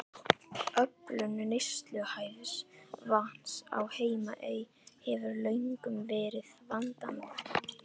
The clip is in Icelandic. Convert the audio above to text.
Öflun neysluhæfs vatns á Heimaey hefur löngum verið vandamál.